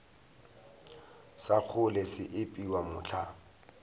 sa kgole se epiwa mohla